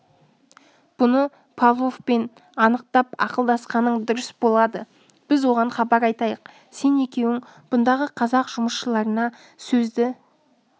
бұны павловпен анықтап ақылдасқаның дұрыс болады біз оған хабар айтайық сен екеуің бұндағы қазақ жұмысшыларына сөзді